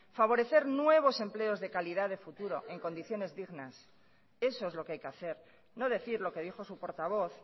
favorecer nuevos empleos de calidad de futuro en condiciones dignas eso es lo que hay que hacer no decir lo que dijo su portavoz